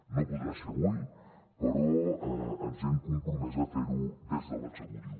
no podrà ser avui però ens hem compromès a fer ho des de l’executiu